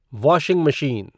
washing machine